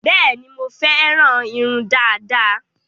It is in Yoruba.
Bẹẹni, mo féràn irun dada